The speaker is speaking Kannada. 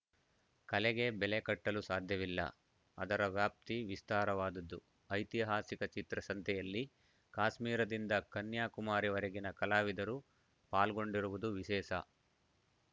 ಕಲೆಗೆ ಬೆಲೆ ಕಟ್ಟಲು ಸಾಧ್ಯವಿಲ್ಲ ಅದರ ವ್ಯಾಪ್ತಿ ವಿಸ್ತಾರವಾದುದು ಐತಿಹಾಸಿಕ ಚಿತ್ರಸಂತೆಯಲ್ಲಿ ಕಾಶ್ಮೀರದಿಂದ ಕನ್ಯಾಕುಮಾರಿವರೆಗಿನ ಕಲಾವಿದರು ಪಾಲ್ಗೊಂಡಿರುವುದು ವಿಶೇಸ